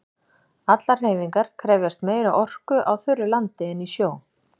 Allar hreyfingar krefjast meiri orku á þurru landi en í sjó.